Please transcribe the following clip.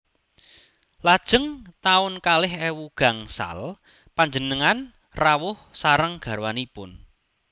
Lajeng taun kalih ewu gangsal panjenengan rawuh sareng garwanipun